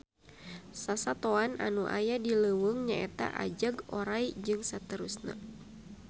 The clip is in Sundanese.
Sasatoan anu aya di leuweung nyaeta ajag, oray, jst